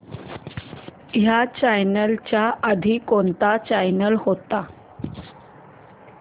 ह्या चॅनल च्या आधी कोणता चॅनल होता